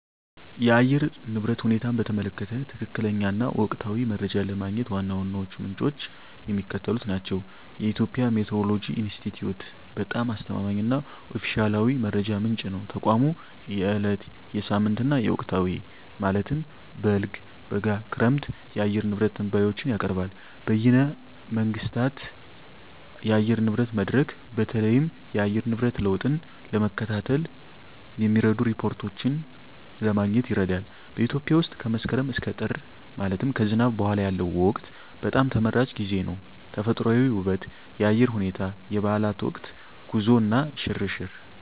የአየር ንብረት ሁኔታን በተመለከተ ትክክለኛ እና ወቅታዊ መረጃ ለማግኘት ዋና ዋናዎቹ ምንጮች የሚከተሉት ናቸው -የኢትዮጵያ ሜትዎሮሎጂ ኢንስቲትዩት በጣም አስተማማኝ እና ኦፊሴላዊ መረጃ ምንጭ ነው። ተቋሙ የዕለት፣ የሳምንት እና የወቅታዊ (በልግ፣ በጋ፣ ክረምት) የአየር ንብረት ትንበያዎችን ያቀርባል። -በይነ መንግሥታት የአየር ንብረት መድረክ: በተለይም የአየር ንብረት ለውጥን ለመከታተል የሚረዱ ሪፖርቶችን ለማግኘት ይረዳል። -በኢትዮጵያ ውስጥ ከመስከረም እስከ ጥር (ከዝናብ በኋላ ያለው ወቅት) በጣም ተመራጭ ጊዜ ነው። -ተፈጥሮአዊ ውበት -የአየር ሁኔታ -የበዓላት ወቅት -ጉዞ እና ሽርሽር